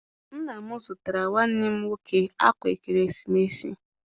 Nna m zụtara nwanne m nwoke akwa ekeresimesi.